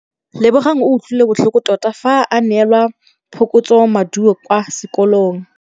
Lebogang o utlwile botlhoko tota fa a neelwa phokotsômaduô kwa sekolong.